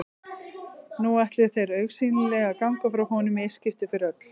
Nú ætluðu þeir augsýnilega að ganga frá honum í eitt skipti fyrir öll.